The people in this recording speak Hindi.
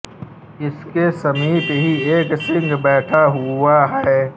उसके समीप ही एक सिंह बैठा हुआ है